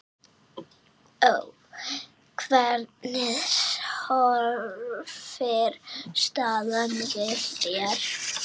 Hvernig horfir staðan við þér?